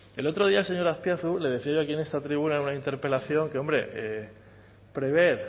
el otro día señor azpiazu le decía yo aquí en esta tribuna una interpelación que hombre prever